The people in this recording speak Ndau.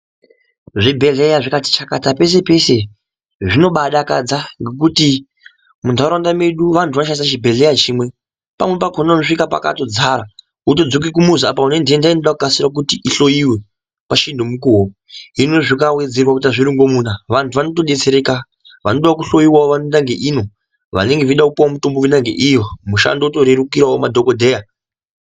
Zvibhehleya zvikati shakata peshe peshe zvino badakadza ngekuti munharaunda medu vano vanoshandisa chibhehleya chimwe pamwe pakona unosvika pakatodzara wotodzoka kumuzi apa unenhenda inoda kunasira kura kuti ijliwe pachinemukuwo hinozvikawedzerwa kuita zvitonhomuna vantu vanot odetdereka vanodawo kuhloiwa boenda ngeiyo vanodawo kupuwa mishonga voenda ngeiyo mushando yorerukirswo madhokodheya